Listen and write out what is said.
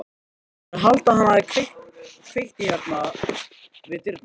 Þeir halda að hann hafi kveikt í hérna við dyrnar.